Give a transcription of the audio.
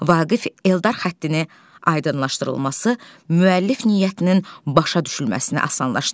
Vaqif Eldar xəttinin aydınlaşdırılması müəllif niyyətinin başa düşülməsini asanlaşdırır.